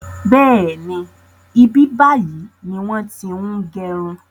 Bẹ́ẹ̀ni, ibi báyìí ni wọn ti ń gẹrun